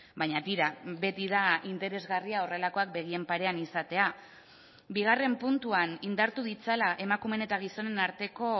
baina tira beti da interesgarria horrelakoak begien parean izatea bigarren puntuan indartu ditzala emakumeen eta gizonen arteko